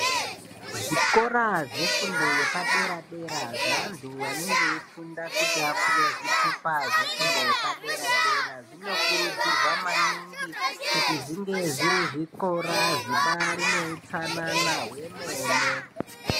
Zvikora zvefundo yepadera-dera, zveantu anenge eifunda kuti apuwe zvitupa zvefundo yepadera-dera zvinokurudzirwa maningi kuti zvinge zviri zvikora zvibaari neutsanana hwemene.